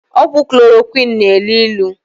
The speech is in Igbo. Ọgwụ klorokwinu na-elu ilu.